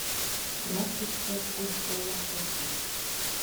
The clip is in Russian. ласточка коста лакоста